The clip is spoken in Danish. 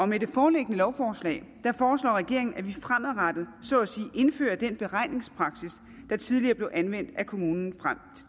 med det foreliggende lovforslag foreslår regeringen at vi fremadrettet så at sige indfører den beregningspraksis der tidligere blev anvendt af kommunen frem